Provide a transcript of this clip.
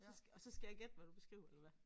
Så og så skal jeg gætte hvad du beskriver eller hvad